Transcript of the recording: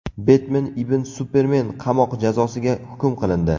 Betmen ibn Supermen qamoq jazosiga hukm qilindi.